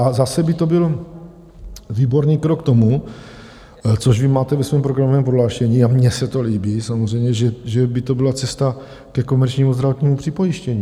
A zase by to byl výborný krok k tomu, což vy máte ve svém programovém prohlášení, a mně se to líbí, samozřejmě, že by to byla cesta ke komerčnímu zdravotnímu připojištění.